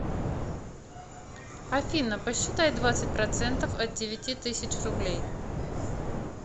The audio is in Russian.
афина посчитай двадцать процентов от девяти тысяч рублей